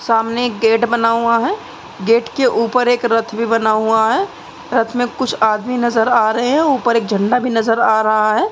सामने एक गेट बना हुआ है। गेट के ऊपर एक रथ भी बना हुआ है। रथ में कुछ आदमी नज़र आ रहे हैं। ऊपर एक झंडा भी नज़र आ रहा है।